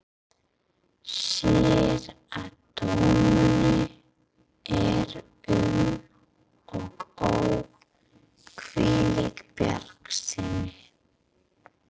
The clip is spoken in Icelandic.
Sér að dömunni er um og ó, hvílík bjartsýni!